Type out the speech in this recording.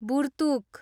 Burtuk